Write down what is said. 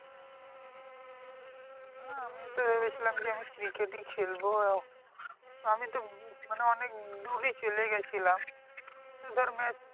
না আমিও তো ভেবেছিলাম যে আমি cricket ই খেলবো। আমি তো মানে অনেক দূরই চলে গেছিলাম ধর match